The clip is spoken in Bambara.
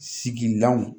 Sigilanw